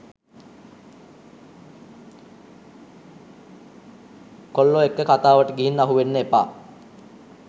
කොල්ලො එක්ක කතාවට ගිහින් අහුවෙන්න එපා